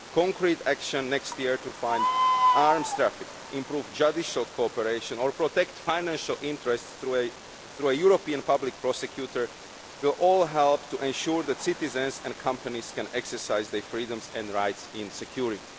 Concrete action next year to fight arms traffic, improve judicial cooperation and protect financial interests through a European Public Prosecutor will all help to ensure that citizens and companies can exercise their freedoms and rights in security.